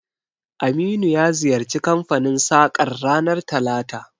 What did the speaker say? Aminu ya ziyarci kanfanin sakar ranar talata